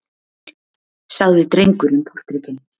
sagði drengurinn tortrygginn.